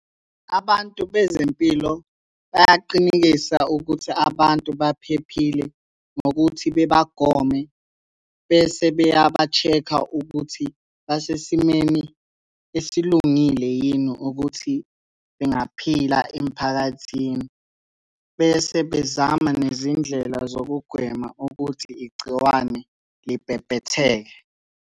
Abantu bezempilo bayaqinekisa ukuthi abantu baphephile ngokuthi bebagome, bese beyaba-check-a ukuthi basesimeni esilungile yini ukuthi bengaphila emphakathini. Bese bezama nezindlela zokugwema ukuthi igciwane libhebhetheke.